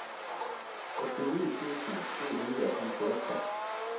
åttini tusen sju hundre og femtiåtte